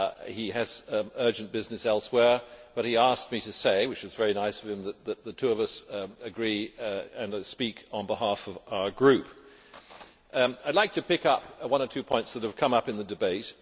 He has urgent business elsewhere, but he asked me to say which was very nice of him that the two of us agree that I will speak on behalf of our group. I would like to pick up one or two points that have come up in the debate.